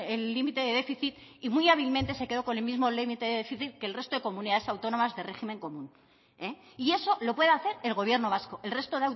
el límite de déficit y muy hábilmente se quedó con el mismo límite de déficit que el resto de comunidades autónomas de régimen común y eso lo puede hacer el gobierno vasco el resto